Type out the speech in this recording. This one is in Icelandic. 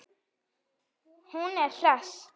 Hún er hress.